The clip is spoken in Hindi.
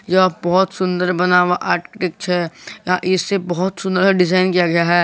यह बहोत सुंदर बना हुआ इसे बहोत सुंदर का डिजाइन किया गया है।